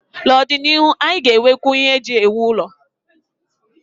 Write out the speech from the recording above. N'ọdịnihu, anyị ga-enwekwu ihe eji ewu ụlọ.